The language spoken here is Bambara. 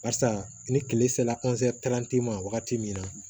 Barisa ni kile sera ma wagati min na